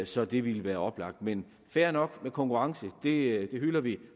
så det ville være oplagt med dem fair nok med konkurrence det hylder vi